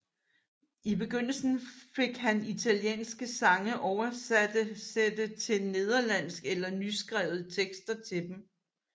I begyndelsen fik han italienske sange oversætte til nederlandsk eller nyskrevet tekster til dem